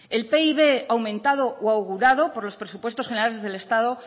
el pib aumentado o augurado por los presupuesto generales del estado